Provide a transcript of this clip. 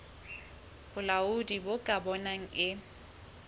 bolaodi bo ka bonang e